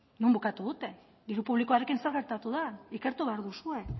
non bukatu dute diru publikoarekin zer gertatu da ikertu behar duzue